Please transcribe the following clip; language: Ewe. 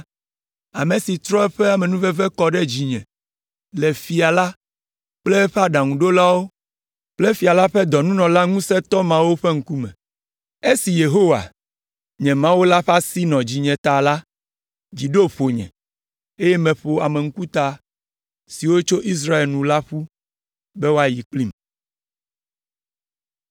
ame si trɔ eƒe amenuveve kɔ ɖe dzinye le fia la kple eƒe aɖaŋuɖolawo kple fia la ƒe dɔnunɔla ŋusẽtɔ mawo ƒe ŋkume. Esi Yehowa, nye Mawu la ƒe asi nɔ dzinye ta la, dzi ɖo ƒonye, eye meƒo ame ŋkuta siwo tso Israel la nu ƒu be woayi kplim.